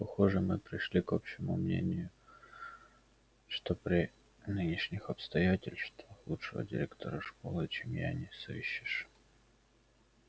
похоже мы пришли к общему мнению что при нынешних обстоятельствах лучшего директора школы чем я не сыщешь